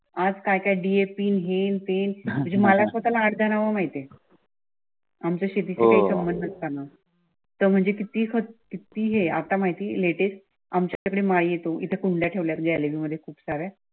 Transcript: आज काय काय डीएपी हे न ते मला स्वताला अर्धी नावे माहित आहे आमच्या नसताना म्हणजे किती किती हें आतां माहिती लेटेस्ट आमच्याकडे माल येतो इथे कुंड्या ठेवल्या ग्यालरी मध्ये खूप सारे.